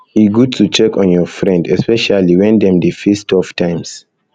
e good to check on your friend um especially when dem dey face tough times tough times